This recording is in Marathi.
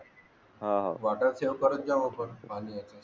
हा वॉटर सेव करत जाऊ आपण